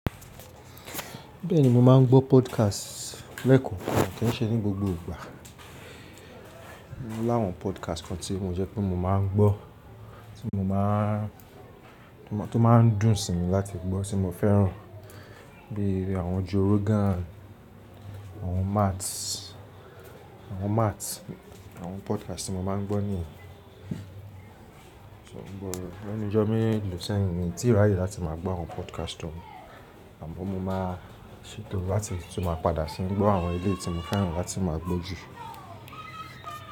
Bẹ́ẹ̀ni mo máa ń gbọ́ podcast lẹ́eko, kàn kí n ṣe ní gbogbo ìgbà. Láwọn podcast kan tí mo jẹ́ pé mo máa ń gbọ́, tí mo máa, tó máa ń dùn sí mi láti gbọ́, tí mo fẹ́ràn bí i àwọn Joe Rogan, àwọn Matt, àwọn Matt, àwọn podcast tí mo máa ń gbọ́ nìyẹn. So mo gbọ́ rẹ̀ lẹ́nu ijọ mi lósẹ̀ yìí ni tíraye yìí láti máa gbọ́ àwọn podcast tọ́ mi. Àmọ́ mo máa ṣètò láti tun ma padà sí i gbọ́ àwọn eléi tí mo fẹ́ràn láti máa gbọ́ jù.